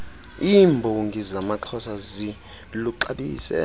iirnbongi zamaxhosa ziluxabise